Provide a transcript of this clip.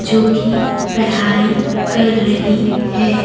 जो की पढ़ाई कर रही है।